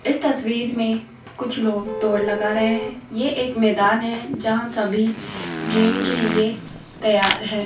इस तस्वीर में कुछ लोग दौड़ लगा रहे हैं ये एक मैदान है जहां सभी गेम के लिए तैयार है।